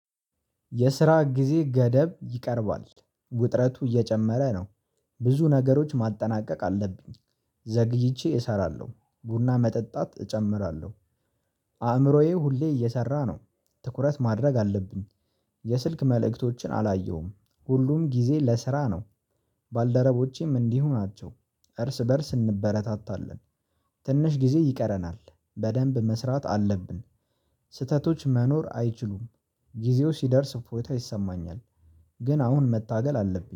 የስራ ጊዜ ገደብ ይቀርባል ውጥረቱ እየጨመረ ነው። ብዙ ነገሮች ማጠናቀቅ አለብኝ ዘግይቼ እሰራለሁ ቡና መጠጣት እጨምራለሁ። አእምሮዬ ሁሌ እየሰራ ነው ትኩረት ማድረግ አለብኝ። የስልክ መልእክቶችን አላየሁም ሁሉም ጊዜ ለስራ ነው። ባልደረቦቼም እንዲሁ ናቸው እርስ በእርስ እንበረታታለን። ትንሽ ጊዜ ይቀረናል በደንብ መስራት አለብን። ስህተቶች መኖር አይችሉም። ጊዜው ሲደርስ እፎይታ ይሰማኛል። ግን አሁን መታገል አለብኝ